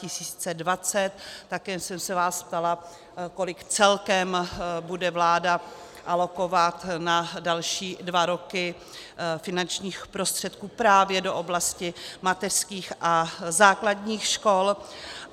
Také jsem se vás ptala, kolik celkem bude vláda alokovat na další dva roky finančních prostředků právě do oblasti mateřských a základní škol.